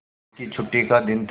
अम्मा की छुट्टी का दिन था